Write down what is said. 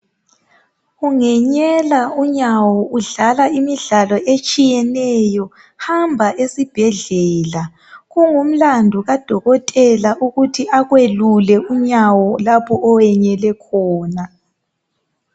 Ungenyela unyawo udlala imidlalo etshiyeneyo hamba esibhedlela kungumlandu kadokotela ukuthi akwelule unyawo lapho oyenyele khona.